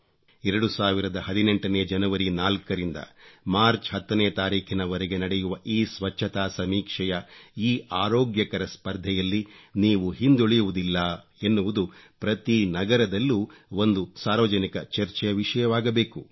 2018 ನೇ ಜನವರಿ 4 ರಿಂದ ಮಾರ್ಚ್ 10 ರವರೆಗೆ ನಡೆಯುವ ಈ ಸ್ವಚ್ಚತಾ ಸಮೀಕ್ಷೆಯ ಈ ಆರೋಗ್ಯಕರ ಸ್ಪರ್ಧೆಯಲ್ಲಿ ನೀವು ಹಿಂದುಳಿಯುವುದಿಲ್ಲ ಎನ್ನುವುದು ಪ್ರತಿ ನಗರದಲ್ಲೂ ಒಂದು ಸಾರ್ವಜನಿಕ ಚರ್ಚೆಯ ವಿಷಯವಾಗಬೇಕು